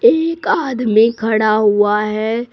एक आदमी खड़ा हुआ है।